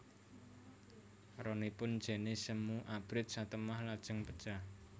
Ronipun jené semu abrit satemah lajeng pejah